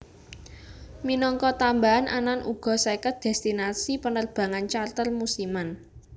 Minangka tambahan anan uga seket destinasi penerbangan charter musiman